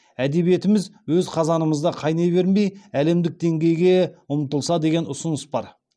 әдебиетіміз өз қазанымызда қайнай бермей әдемдік деңгейге ұмтылса деген ұсыныс бар